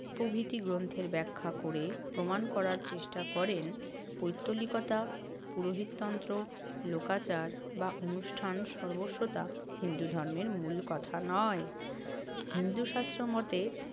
প্রভৃতি গ্রন্থের ব্যাখ্যা করে প্রমাণ করার চেষ্টা করেন পৈত্তলিকতা, পুরোহিততন্ত্র, লোকাচার বা অনুষ্ঠান সর্বস্বতা হিন্দু ধর্মের মূল কথা নয়। হিন্দু শাস্ত্রমতে